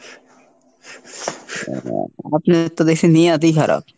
আপনার নিয়তই খারাপ।